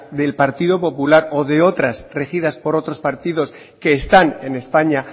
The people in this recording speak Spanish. del partido popular o de otras regidas por otros partidos que están en españa